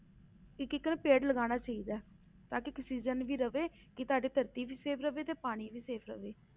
ਇੱਕ ਇੱਕ ਨਾ ਪੇੜ ਲਗਾਉਣਾ ਚਾਹੀਦਾ ਹੈ ਤਾਂ ਕਿ ਆਕਸੀਜਨ ਵੀ ਰਹੇ ਕਿ ਤੁਹਾਡੀ ਧਰਤੀ ਵੀ safe ਰਹੇ ਤੇ ਪਾਣੀ ਵੀ safe ਰਹੇ